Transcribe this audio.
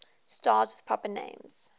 stars with proper names